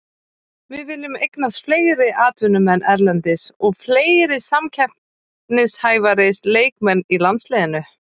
Við viljum eignast fleiri atvinnumenn erlendis og fleiri samkeppnishæfari leikmenn í landsliðinu.